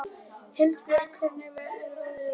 Hildibjörg, hvernig er veðrið úti?